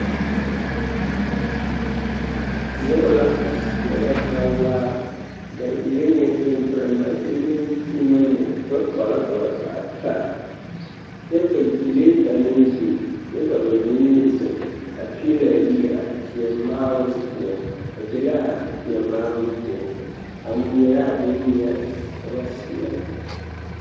Noba la a seɛrɛ bawaa ba leŋee pemperemɛ kyɛ leŋ kyeemɛ meŋ, gbɛ-kpala ka ba zaa taa kyɛ ka gyile a meŋ biŋ kyɛ ka bamine meŋ zeŋ a peɛle a yiri a teɛ maaroŋ poɔ ba be l'a teɛ maaroŋ poɔ a ŋmeɛrɛ a boŋŋmeɛre ka ba seɛrɛ.